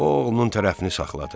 O oğlunun tərəfini saxladı.